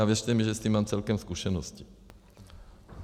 A věřte mi, že s tím mám celkem zkušenosti.